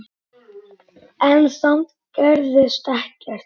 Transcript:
En samt gerðist ekkert.